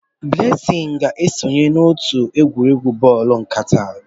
Blessing ga-esonye n'otu egwuregwu bọọlụ nkata.